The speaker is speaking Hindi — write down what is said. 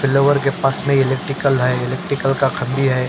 फिलोवर के पास में इलेक्ट्रिकल है इलेक्ट्रिकल का खम्बे है।